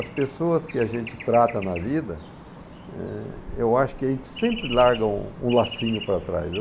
As pessoas que a gente trata na vida, eh, eu acho que a gente sempre larga um lacinho para trás.